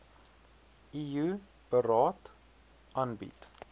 eu beraad aanbied